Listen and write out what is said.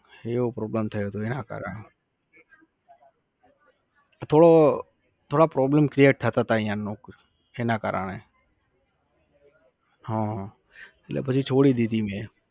એવો problem થયો તો એના કારણે. તો થોડા problem create થતાં હતા ત્યાં નોક એના કારણે. હમ એટલે પછી છોડી દીધી મે